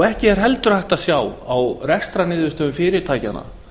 ekki er heldur hægt að sjá á rekstrarniðurstöðum fyrirtækjanna